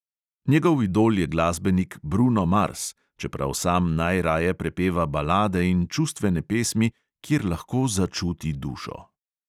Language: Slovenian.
Njegov idol je glasbenik bruno mars, čeprav sam najraje prepeva balade in čustvene pesmi, kjer lahko začuti dušo.